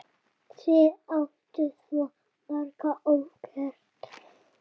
Þið áttuð svo margt ógert.